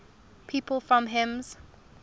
people from hims